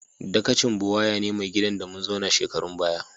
Dakacin Buwaya ne mai gidan de mun zauna shekarun baya.